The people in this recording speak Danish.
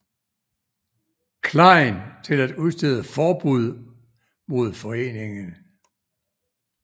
Klein til at udstede forbud mod foreningen